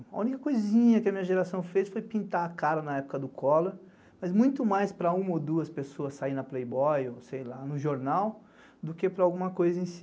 A única coisinha que a minha geração fez foi pintar a cara na época do Collor, mas muito mais para uma ou duas pessoas saírem na Playboy ou sei lá, no jornal, do que para alguma coisa em si.